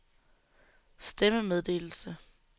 stemmemeddelelse